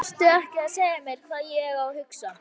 Vertu ekki að segja mér hvað ég á að hugsa!